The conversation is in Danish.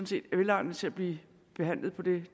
set er velegnede til at blive behandlet ved